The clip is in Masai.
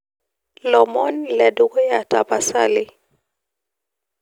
lomon ledukuya tapasali